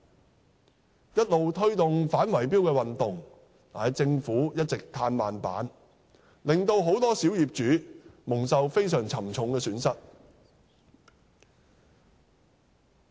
我們一直推動反圍標運動，但政府卻一直"嘆慢板"，令很多小業主蒙受非常沉重的損失。